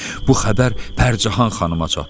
Bu xəbər Pərcəhan xanıma çatdı.